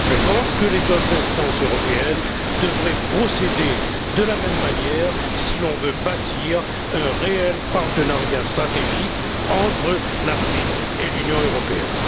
Je pense que les autres instances européennes devraient procéder de la même manière si l'on veut bâtir un réel partenariat stratégique entre l'Afrique et l'Union européenne.